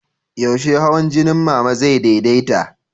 Yaushe hawan jinin Mama zai daidaita?